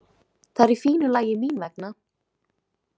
Það er í fínu lagi mín vegna.